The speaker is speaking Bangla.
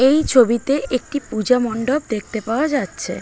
এই ছবিতে একটি পুজো মন্ডপ দেখতে পায়া যাচ্ছে।